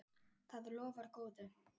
Það lofar góðu.